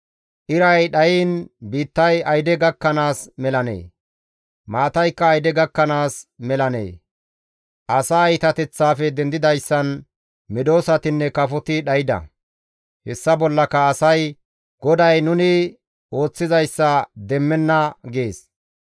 Iray dhayiin biittay ayde gakkanaas melanee? Maataykka ayde gakkanaas melanee? Asaa iitateththaafe dendidayssan medosatinne kafoti dhayda. Hessa bollaka asay, «GODAY nuni ooththizayssa demmenna» gees.